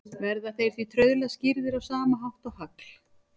Verða þeir því trauðla skýrðir á sama hátt og hagl.